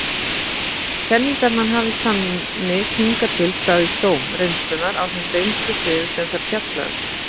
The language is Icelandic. Kenningarnar hafa þannig hingað til staðist dóm reynslunnar á þeim reynslusviðum sem þær fjalla um.